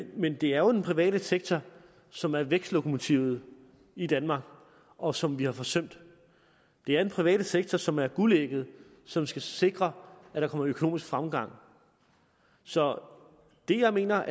men det er jo den private sektor som er vækstlokomotivet i danmark og som vi har forsømt det er den private sektor som er guldægget som skal sikre at der kommer økonomisk fremgang så det jeg mener